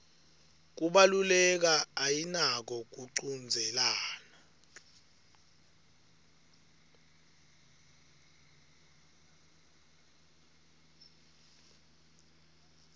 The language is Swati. kubaluleka ayinako kuchudzelana